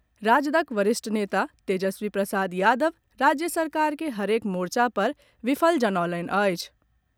राजदक वरिष्ठ नेता तेजस्वी प्रसाद यादव राज्य सरकार के हरेक मोर्चा पर विफल जनौलनि अछि।